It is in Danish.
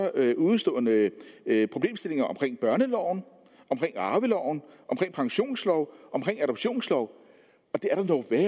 udestående problemstillinger omkring børneloven omkring arveloven omkring pensionsloven omkring adoptionsloven